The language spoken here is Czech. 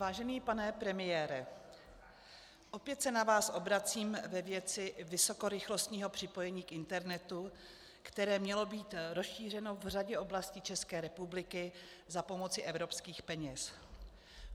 Vážený pane premiére, opět se na vás obracím ve věci vysokorychlostního připojení k internetu, které mělo být rozšířeno v řadě oblastí České republiky za pomoci evropských peněz.